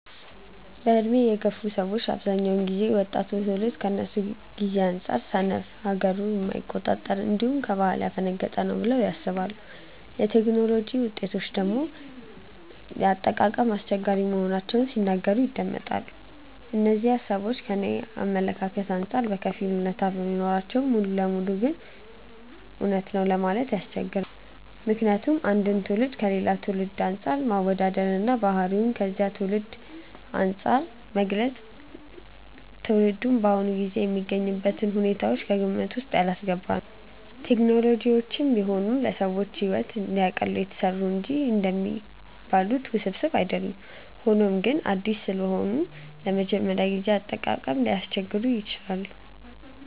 በዕድሜ የገፉ ሰዎች በአብዛኛው ጊዜ ወጣቱ ትውልድ ከነሱ ጊዜ አንጻር ሰነፍ፣ ለሀገሩ የማይቆረቆር፣ እንዲሁም ከባህሉ ያፈነገጠ ነው ብለው ያስባሉ። የቴክኖሎጂ ውጤቶችን ደግሞ ለአጠቃቀም አስቸጋሪ መሆናቸውን ሲናገሩ ይደመጣል። እነዚህ ሃሳቦች ከኔ አመለካከት አንጻር በከፊል አውነታነት ቢኖራቸውም ሙሉ ለሙሉ ልክ ነው ለማለት ግን ያስቸግራል። ምክንያቱም አንድን ትውልድ ከሌላ ትውልድ አንፃር ማወዳደር እና ባህሪውን ከዚያ ትውልድ አንፃር መግለጽ ትውልዱ በአሁኑ ጊዜ የሚገኝበትን ሁኔታዎች ከግምት ውስጥ ያላስገባ ነው። ቴክኖሎጂዎችም ቢሆኑ ለሰዎች ሕይወትን እንዲያቀሉ የተሰሩ እንጂ እንደሚባሉት ውስብስብ አይደሉም። ሆኖም ግን አዲስ ስለሆኑ ለመጀመሪያ ጊዜ አጠቃቀም ሊያስቸግሩ ይችላሉ።